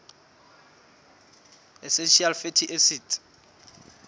essential fatty acids